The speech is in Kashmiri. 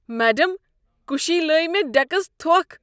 میڈم، کُسی لٲے مےٚ ڈیكس تھۄكھ۔